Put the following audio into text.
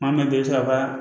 Maa min bɛ i bɛ sɔrɔ ka